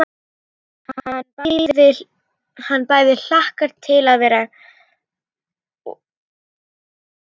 Hann bæði hlakkaði til og kveið fyrir.